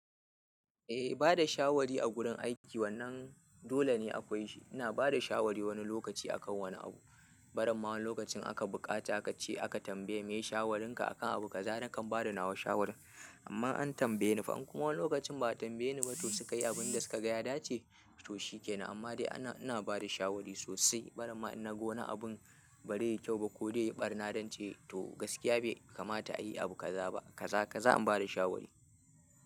Eh bada shawari a gurin aiki wannan dole ne akwai shi. Ina bada shawari wani lokaci akan wani abu. Barin ma wani lokacin aka buƙata ka ce aka tambaye maye shawarinka akan abu kaza, nakan bada nawa shawara. Amma an tambaye ni fa, an kuma wani lokacin ba a tambaye ni ba to suka yi abin da suka ga ya dace to shi ke nan. Amma dai ana ina bada shawari sosai. Barin ma in na ga wani abun ba zai ya yi kyau ba ko zai yi ɓarna, na zance to gaskiya bai kamata a yi abu kaza ba. Kaza, kaza an bada shawari.